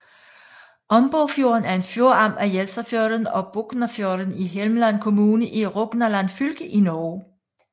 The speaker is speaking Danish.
Ombofjorden er en fjordarm af Jelsafjorden og Boknafjorden i Hjelmeland kommune i Rogaland fylke i Norge